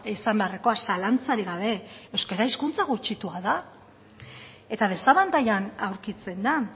izan beharrekoa zalantzarik gabe euskara hizkuntza gutxitua da eta desabantailan aurkitzen da